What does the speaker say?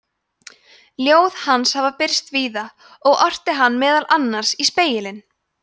ljóð hans hafa birst víða og orti hann meðal annars í „spegilinn“